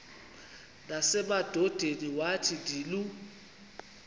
nasemadodeni wathi ndilu